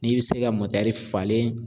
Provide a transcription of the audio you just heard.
N'i bɛ se ka mɔtɛri falen